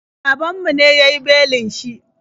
Babanmu ne ya yi belin shi.